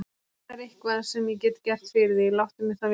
Ef það er eitthvað, sem ég get gert fyrir þig, láttu mig þá vita.